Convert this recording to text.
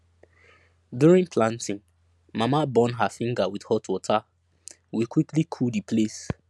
during planting mama burn her finger with hot water we quickly cool the place